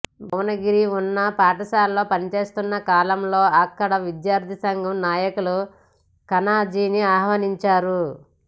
భువనగిరి ఉన్నత పాఠశాలలో పనిచేస్తున్న కాలంలో అక్కడి విద్యార్థి సంఘం నాయకులు ఖానాజీని ఆహ్వానించారు